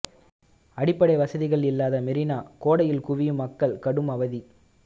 அடிப்படை வசதிகள் இல்லாத மெரினா கோடையில் குவியும் மக்கள் கடும் அவதி